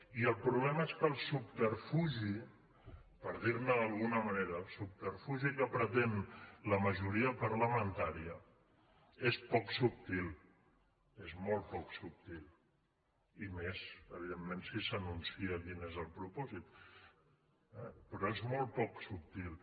i el problema és que el subterfugi per dir ne d’alguna manera el subterfugi que pretén la majoria parlamentària és poc subtil és molt poc subtil i més evidentment si s’anuncia quin és el propòsit eh però és molt poc subtil